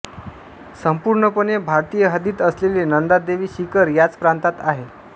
संपूर्णपणे भारतीय हद्दीत असलेले नंदादेवी शिखर याच प्रांतात आहे